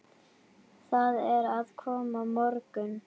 Það er að koma morgunn